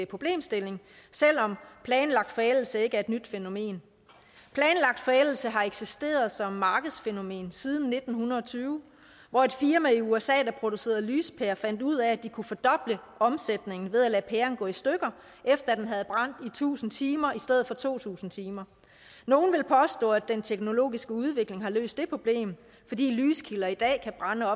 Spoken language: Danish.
problemstilling selv om planlagt forældelse ikke er et nyt fænomen planlagt forældelse har eksisteret som markedsfænomen siden nitten tyve hvor et firma i usa der producerede lyspærer fandt ud af at de kunne fordoble omsætningen ved at lade pæren gå i stykker efter at den havde brændt i tusind timer i stedet for to tusind timer nogle vil påstå at den teknologiske udvikling har løst det problem fordi lyskilder i dag kan brænde